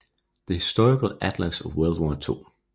The Historical Atlas of World War II